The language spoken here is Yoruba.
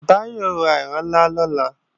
Báyọ̀ ó ra ìrinlá lọ́la